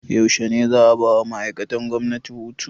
Yaushe ne za 'a bawa ma'aikatan gwamnati hutu?